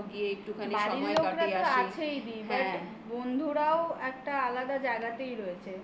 বাড়ির লোকেরা তো আছেই দি হ্যাঁ বন্ধুরাও একটা আলাদা জায়গাতেই রয়েছে